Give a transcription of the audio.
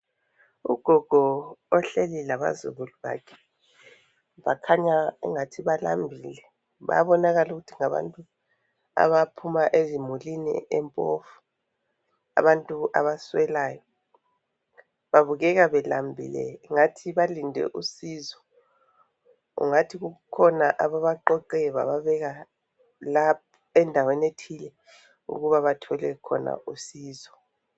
Ugogo ohleli labazukulu bakhe. Bakhanya engathi balambile. Bayabonakala ukuthi bantu abaphuma ezimulini empofu abantu abaswelayo, babukeka belambile ngathi balinde usizo, ungathi kukhona ababaqoqe baba bekalapha endaweni ethile ukuba bathole usizo.